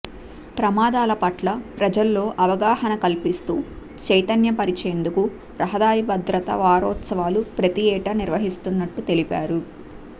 ప్రమాదాల పట్ల ప్రజల్లో అవగాహన కల్పిస్తూ చైతన్య పరిచేందుకు రహదారి భద్రతా వారోత్సవాలు ప్రతి ఏటా నిర్వహిస్తున్నట్లు తెలిపారు